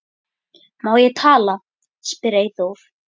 Má ég tala? spyr Eyþór.